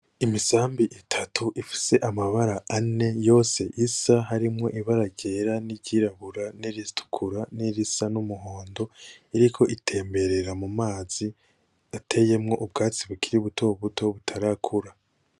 Imisambi itatu ifise amabara ane, yose isa harimwo ibara ryera niryirabura niritukura nirisa numuhondo iriko itemberera mumazi , ateyemwo ubwatsi bukiri butobuto butarakura .